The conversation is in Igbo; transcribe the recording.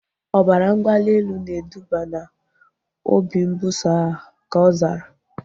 Ọbara mgbali elu na eduba na obi mbuso agha, ka ọ zara